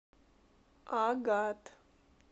агат